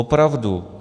Opravdu.